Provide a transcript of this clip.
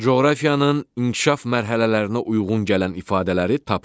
Coğrafiyanın inkişaf mərhələlərinə uyğun gələn ifadələri tapın.